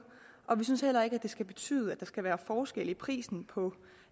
og vi synes heller ikke at det skal betyde at der skal være forskel i prisen på